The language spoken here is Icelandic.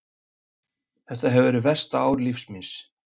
Þetta hefur verið versta ár lífs míns.